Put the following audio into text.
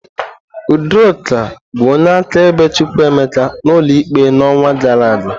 Udoka bụ onye akaebe Chukwuemeka n'ụlọ ikpe n'ọnwa gara aga.